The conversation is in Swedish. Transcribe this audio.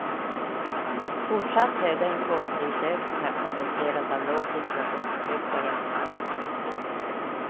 Fortsatt höga importprisökningar kompenseras av lågt inflationstryck på hemmamarknaden.